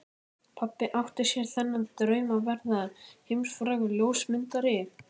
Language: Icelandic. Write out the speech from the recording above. Pabbi átti sér þann draum að verða heimsfrægur ljósmyndari.